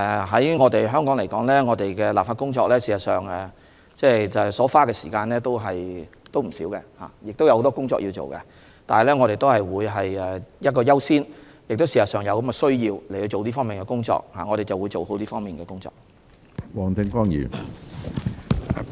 在香港，我們在立法工作上所花的時間也不少，也有很多工作需要做，但我們會優先處理有關的修訂，而實際上也是有此需要的，所以我們會做好這方面的工作。